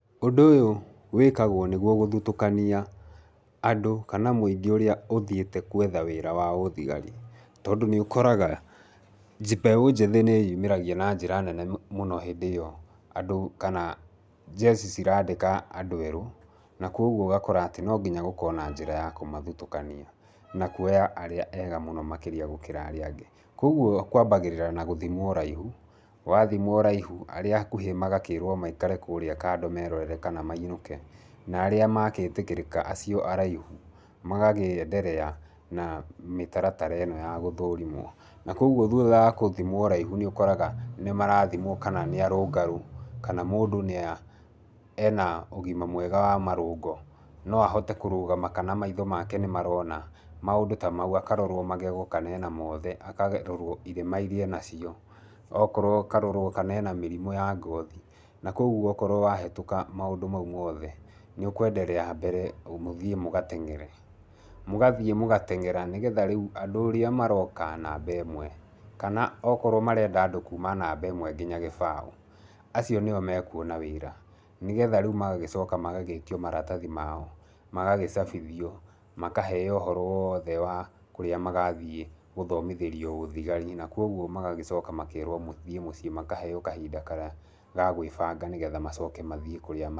Ũndũ ũyũ wĩkagwo nĩguo gũthutũkania andũ kana mũingĩ ũrĩa ũthiĩte gwetha wĩra wa ũthigari, tondũ nĩũkoraga mbeũ njĩthĩ nĩyĩumĩragia na njĩra nene mũno hĩndĩ ĩyo andũ kana njeci cirandĩka andũ erũ, na kuoguo ũgakora atĩ no nginya gũkorwo na njĩra ya kũmathutũkania na kuoya arĩa ega mũno makĩria gũkĩra arĩa angĩ. Kuoguo kwambagĩrĩra na gũthimwo ũraihu, wathimwo ũraihu, arĩa akuhĩ magakĩrwo maikare kũrĩa kando merorere kana mainũke. Na arĩa makĩtĩkĩrĩka acio araihu, magagĩenderea na mĩtaratara ĩno ya gũthũrimwo. Na kuoguo thutha wa gũthimwo ũraihu nĩũkoraga nĩmarathimwo kana nĩarũngarũ, kana mũndũ nĩa ena ũgima mwega wa marũngo, no ahote kũrũgama kana maitho make nĩmarona maũndũ ta mau. Akarorwo magego kana ena mothe, akarorwo irema iria enacio. Okorwo akarorwo kana ena mĩrimũ ya ngothi, na kuoguo okorwo ahĩtũka maũndũ mau mothe nĩũkũenderea mbere mũthiĩ mũgateng'ere. Mũgathiĩ mũgateng'era nĩgetha rĩu andũ ũrĩa maroka namba ĩmwe, kana okorwo marenda andũ kuma namba ĩmwe nginya gĩbaũ, acio nĩo mekuona wĩra, nĩgetha rĩu magagĩcoka magagĩtio maratathi mao. Magagĩcabithio makaheo ũhoro woothe wa kũrĩa magathiĩ gũthomithĩrio ũthigari na kuoguo magagĩcoka makerwo mũthiĩ mũciĩ makaheo kahinda karĩa ga gwĩbanga nĩgetha macoke mathiĩ kũrĩa ma.